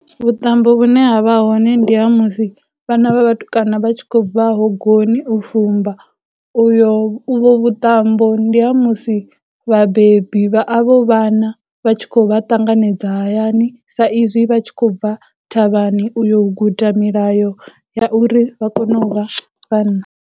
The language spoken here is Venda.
Vhuṱambo vhune havha hone ndi ha musi vhana vha vhatukana vha tshi khou bva hogoni u fumba, uyo uvho vhuṱambo ndi ha musi vhabebi vha avho vhana vha tshi khou vha ṱanganedza hayani sa izwi vha tshi khou bva thavhani uyo u guda milayo ya uri vha kone u vha vhanna.